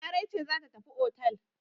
Larai ce za tafi otel.